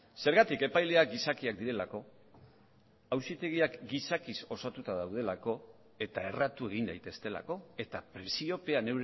zergatik epaileak gizakiak direlako auzitegiak gizakiz osatuta daudelako eta erratu egin daitezkeelako eta presiopean